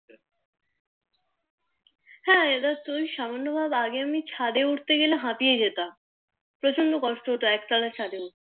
হ্যাঁ ইদানিং সামান্য ভাবে আমি ছাদে উঠতে গেলে আমি হাপিয়ে যেতাম প্রচন্ড কষ্ট হতো এক তোলা ছাদে উঠতে